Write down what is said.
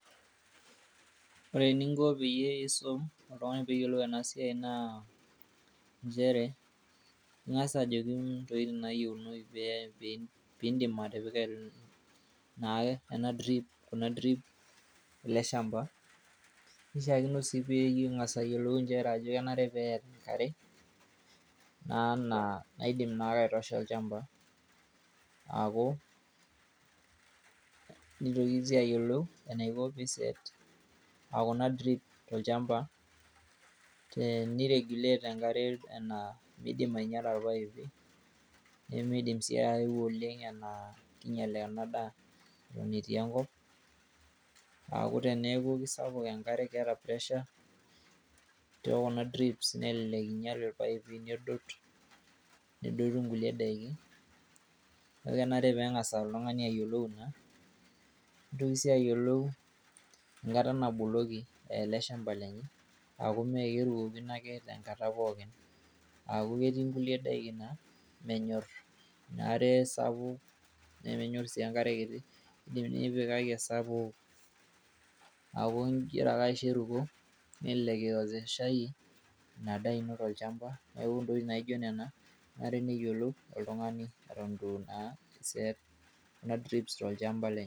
ore eninkopeyie isum oltungani peyie eyiolou ena siai naa nchere ingas ajoki nkoitoi nayieunou pee ,pindimatipika kuna drip ele shamba. nishaakino sii pengas ayiolu ajo kenare peeta enkare naa naidim naake aitosha olchamba. nitoki sii ayiolou enaiko pi set kuna drip tolchamba ,teni regulate enkare naa mindim ainyiala irpaipini.